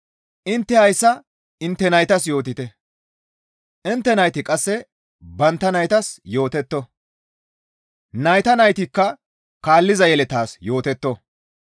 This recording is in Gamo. Intte hayssa intte naytas yootite; intte nayti qasse bantta naytas yootetto; nayta naytikka kaalliza yeletas yootetto.